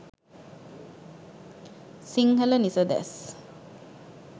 sinhala nisades